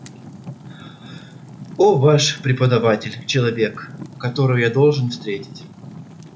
о ваш предводитель человек которого я должен встретить